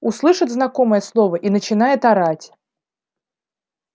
услышит знакомое слово и начинает орать